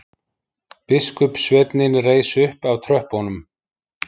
Biskupssveinninn reis upp af tröppunum.